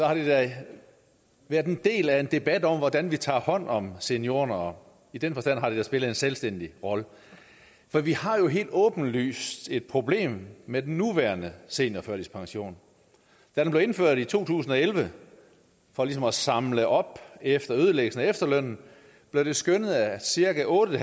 har det været en del af en debat om hvordan vi tager hånd om seniorerne og i den forstand har det da spillet en selvstændig rolle for vi har jo helt åbenlyst et problem med den nuværende seniorførtidspension da den blev indført i to tusind og elleve for ligesom at samle op efter ødelæggelsen af efterlønnen blev det skønnet at cirka otte